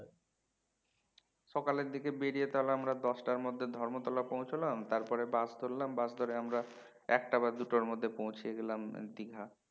সকালের দিকে বেরিয়ে তাহলে আমরা দশটার মধ্যে ধর্মতলা পৌঁছলাম তারপরে bus ধরলাম bus ধরে আমরা একটা বা দুটোর মধ্যে পৌছিয়ে গেলাম দীঘা